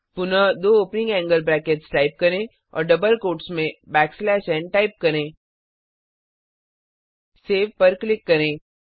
पुनः दो opening angle brackets type करें और डबल कोटट्स में बैक स्लैश एन टाइप करें सेव पर क्लिक करें